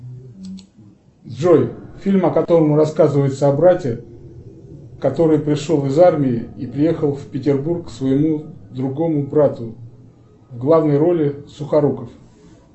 джой фильм о котором рассказывается о брате который пришел из армии и приехал в петербург к своему другому брату в главной роли сухоруков